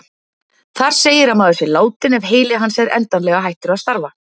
Þar segir að maður sé látinn ef heili hans er endanlega hættur að starfa.